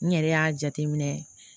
N yɛrɛ y'a jateminɛ